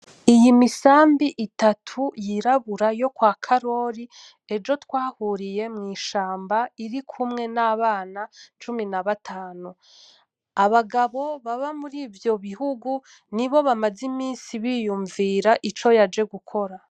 Iyi misambi itatu yirabura yo kwa Karori ejo twahuriye mw'ishamba irikumwe n'abana cumi na batanu, abagabo baba muri ivyo bihugu nibo bamaze imisi biyunvira ico yaje gukora.